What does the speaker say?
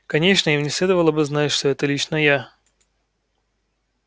конечно им не следовало бы знать что это лично я